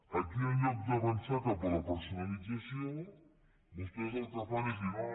aquí en lloc d’avançar cap a la personalització vostès el que fan és dir no no